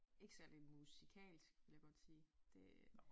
Ikke særlig musikalsk vil jeg godt sige det